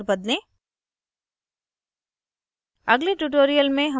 अपना passwords अक्सर बदलें